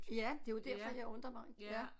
Ja det er jo derfor jeg undrer mig ja